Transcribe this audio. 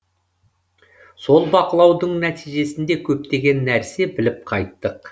сол бақылаудың нәтижесінде көптеген нәрсе біліп қайттық